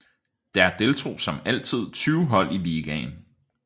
Der deltog som altid 20 hold i ligaen